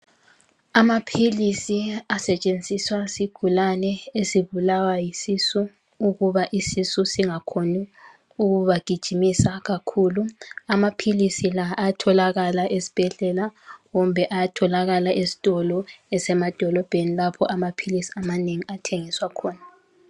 Amaphilisi asetshenziswa yizigulane ezibulawa yisisu ukuba isisu singakhoni ukubagijimisa kakhulu amaphilisi la ayatholakala esibhedlela kumbe ayatholakala esitolo esemadolobheni lapho amaphilisi amanengi athengiswa khona